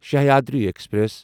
Sahyadri express